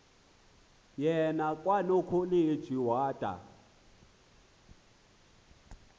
yena kwanokholeji wada